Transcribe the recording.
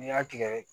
N'i y'a tigɛ